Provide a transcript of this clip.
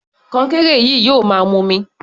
Kọnkéré yìí yóò máa mumi.